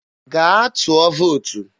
gaa tụọ vootu!